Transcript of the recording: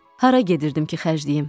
Hara gedirdim ki, xərcləyim?